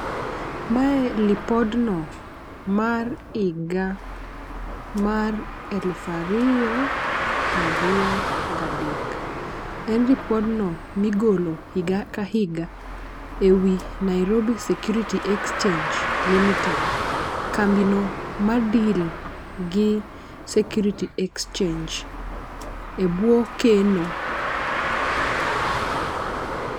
Mae lipodno mar higa mar elufa riyo prariyo gadek. En lipodno migolo higa ka higa ewi Nairobi security exchange limited kambi no ma deal gi security exchange e buo keno.